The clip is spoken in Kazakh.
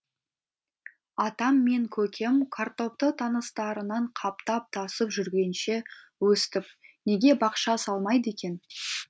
атам мен көкем картопты таныстарынан қаптап тасып жүргенше өстіп неге бақша салмайды екен